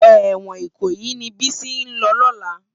Èwòn Ikoyi ni Bisi n lò lòlá